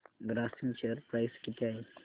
Grasim share price किती आहे